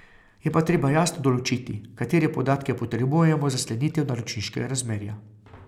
Je pa treba jasno določiti, katere podatke potrebujemo za sklenitev naročniškega razmerja.